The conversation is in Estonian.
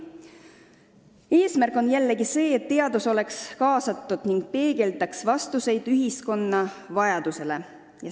Eesmärk on see, et teadus oleks igapäevaellu kaasatud ning peegeldaks ühiskonda.